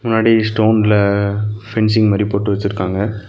முன்னாடி ஸ்டோன்ல ஃபென்சிங் மாரி போட்டு வெச்சிருக்காங்க.